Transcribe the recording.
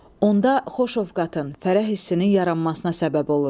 Onda xoş ovqatın, fərəh hissinin yaranmasına səbəb olur.